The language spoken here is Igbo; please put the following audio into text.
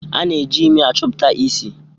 A na-eji imi achọpụta isi